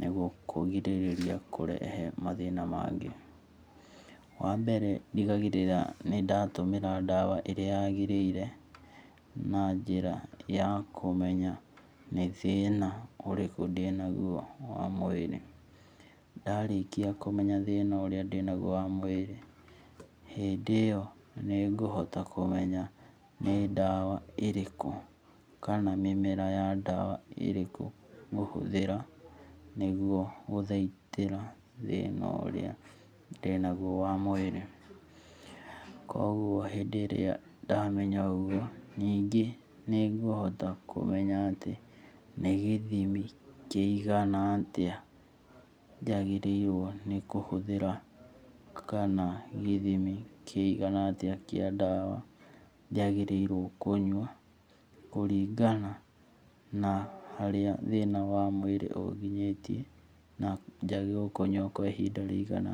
nĩguo kũgirĩria kũrehe mathĩna mangĩ. Wambere ndigagĩrĩra nĩ ndatũmĩra ndawa ĩrĩa yagĩrĩire na njĩra ya kũmenya nĩ thĩna ũrĩku ndĩnagwo wa mwĩrĩ. Ndarĩkia kũmenya thĩna ũrĩa ndĩnagwo wa mwĩri hĩndĩ iyo nĩ ngũhota kũmenya nĩ ndawa ĩrĩkũ kana mĩmera ya ndawa ĩrĩkũ ngũhũthĩra nĩguo gũthaitĩra thĩna ũrĩa ndĩnagwo wa mwĩrĩ. Kogwo hĩndĩ ĩrĩa ndamenya ũgũo ningĩ nĩngũhota kũmenya atĩ nĩ gĩthimi kĩigana atĩa njagĩrĩiruo nĩ kũhũthĩra kana gĩthimi kĩigana atĩa kĩa ndawa njagĩrĩrwo kũnywa kũringana na harĩa thĩna wa mwĩri ũnginyĩtie na njagĩrĩrwo kunyua kwa ihinda rĩigana